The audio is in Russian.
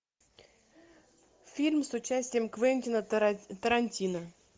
фильм с участием квентина тарантино